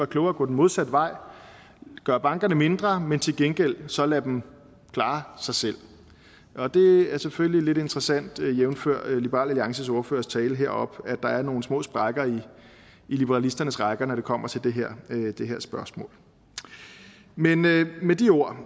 klogere at gå den modsatte vej og gøre bankerne mindre men til gengæld så lade dem klare sig selv det er selvfølgelig lidt interessant jævnfør liberal alliances ordførers tale heroppe at der er nogle små sprækker i liberalisternes rækker når det kommer til det her spørgsmål men med de ord